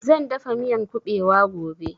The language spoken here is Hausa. Zan dafa miyan ƙubewa gobe